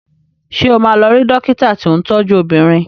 Ṣé o máa lọ rí dọ́kítà tí ń tọ́jú obìnrin?